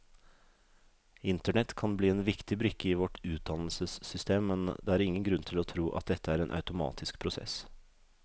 Internett kan bli en viktig brikke i vårt utdannelsessystem, men det er ingen grunn til å tro at dette er en automatisk prosess.